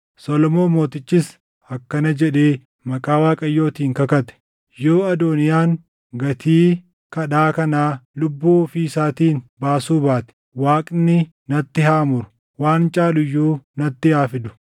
Solomoon mootichis akkana jedhee maqaa Waaqayyootiin kakate; “Yoo Adooniyaan gatii kadhaa kanaa lubbuu ofii isaatiin baasuu baate, Waaqni natti haa muru; waan caalu iyyuu natti haa fidu!